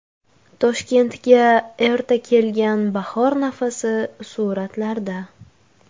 Toshkentga erta kelgan bahor nafasi suratlarda.